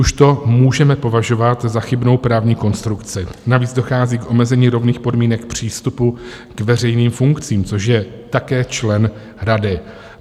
Už to můžeme považovat za chybnou právní konstrukci, navíc dochází k omezení rovných podmínek přístupu k veřejným funkcím, což je také člen rady.